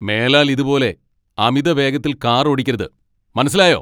മേലാൽ ഇതുപോലെ അമിതവേഗത്തിൽ കാർ ഓടിക്കരുത്, മനസ്സിലായോ?